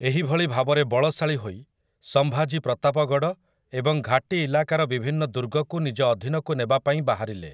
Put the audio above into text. ଏହିଭଳି ଭାବରେ ବଳଶାଳୀ ହୋଇ, ସମ୍ଭାଜୀ ପ୍ରତାପଗଡ଼ ଏବଂ ଘାଟୀ ଇଲାକାର ବିଭିନ୍ନ ଦୁର୍ଗକୁ ନିଜ ଅଧୀନକୁ ନେବା ପାଇଁ ବାହାରିଲେ ।